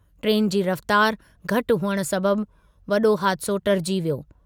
Train जी रफ़्तार घटि हुअण सबबि वॾो हादिसो टारिजी वियो।